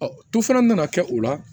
to fana nana kɛ o la